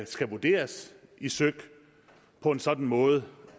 skal vurderes i søik på en sådan måde